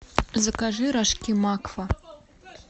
закажи рожки макфа